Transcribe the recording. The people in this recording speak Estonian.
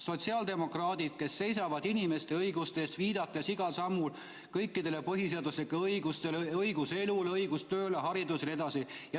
Sotsiaaldemokraadid seisavad inimeste õiguste eest, viidates igal sammul kõikidele põhiseaduslike õigustele: õigus elule, õigus tööle, haridusele jne.